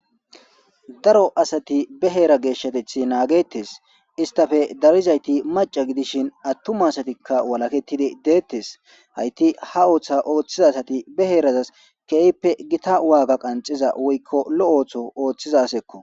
Daro asati be heera geeshshatethi naagettes istafe darizayti maca gidishin attuma asatikka walakettidi deettes hayti ha ooththa ooththiza asati be heerazas keeyppe gita waaga qanxiza woykko lo7ootho ooththizasekko.